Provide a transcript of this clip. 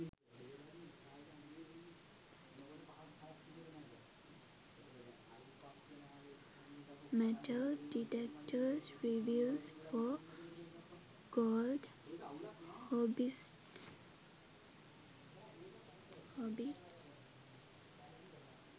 metal detectors reviews for gold hobbyists